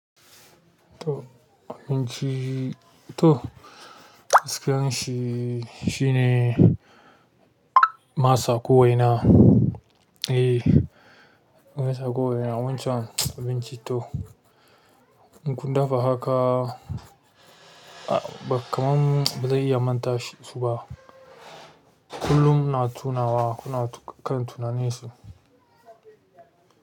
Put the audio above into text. Toh abinci toh, hasken shi shine masa ko waina. Eh, masa kowaina wancan abinci toh. In kun dafa haka a ba kamar ba zai iya manta shi ba. Kullum ina tunawa kuna kan tunanin su.